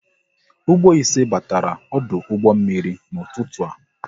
Ụgbọ ise batara ọdụ ụgbọ mmiri n'ụtụtụ a